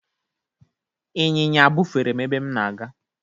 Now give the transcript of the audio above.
ịnyịnya bufere m ebe m na-aga.